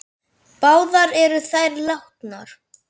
Báðar eru þær látnar.